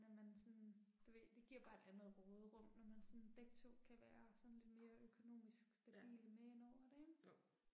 Når man sådan, du ved det giver bare et andet råderum når man sådan begge 2 kan være sådan lidt mere økonomisk stabile med ind over det ik